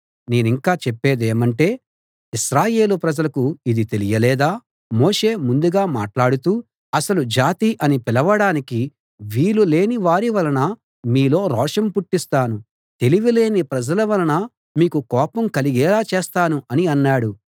నేనింకా చెప్పేదేమంటే ఇశ్రాయేలు ప్రజలకు ఇది తెలియలేదా మోషే ముందుగా మాట్లాడుతూ అసలు జాతి అని పిలవడానికి వీలు లేని వారి వలన మీలో రోషం పుట్టిస్తాను తెలివి లేని ప్రజల వలన మీకు కోపం కలిగేలా చేస్తాను అని అన్నాడు